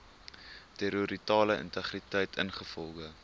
territoriale integriteit ingevolge